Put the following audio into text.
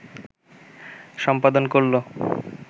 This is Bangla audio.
সম্পাদন করলো